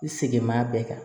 I segin b'a bɛɛ kan